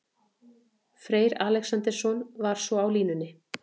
Freyr Alexandersson var svo á línunni.